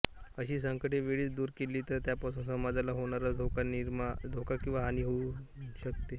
अशी संकटे वेळीच दूर केली तर त्यापासून समाजाला होणारा धोका किंवा हानी कमी होऊ शकते